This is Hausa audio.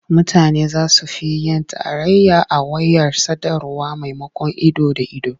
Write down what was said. Mutane za su fi yin tarayya a wayar sadarwa maimakon ido da ido.